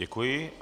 Děkuji.